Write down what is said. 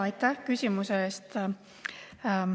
Aitäh küsimuse eest!